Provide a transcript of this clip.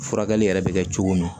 Furakɛli yɛrɛ bɛ kɛ cogo min